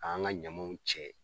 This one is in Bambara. K'an ga ɲamaw cɛ